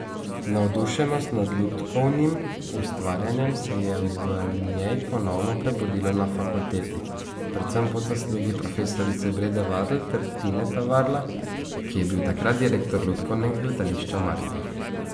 Navdušenost nad lutkovnim ustvarjanjem se je v njej ponovno prebudilo na fakulteti, predvsem po zaslugi profesorice Brede Varl ter Tineta Varla, ki je bil takrat direktor Lutkovnega gledališča Maribor.